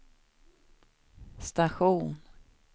station